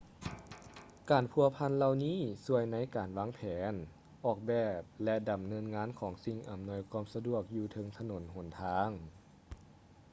ການພົວພັນເຫຼົ່ານີ້ຊ່ວຍໃນການວາງແຜນ ອອກແບບ ແລະ ດຳເນີນງານຂອງສິ່ງອຳນວຍຄວາມສະດວກຢູ່ເທິງຖະໜົນຫົນທາງ